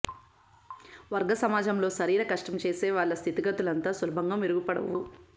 వర్గ సమాజంలో శరీర కష్టం చేసే వాళ్ల స్థితిగతులంత సులభంగా మెరుగుపడవు